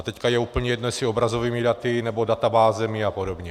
A teď je úplně jedno, jestli obrazovými daty, nebo databázemi a podobně.